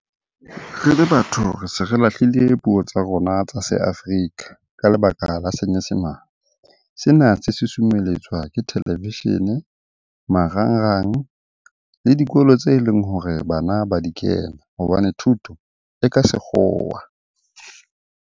Re le batho re se re lahlile puo tsa rona tsa se Afrika ka lebaka la senyesemane. Sena se susumeletswa ke televishene, marangrang le dikolo tse leng hore bana ba di kena hobane thuto e ka sekgowa.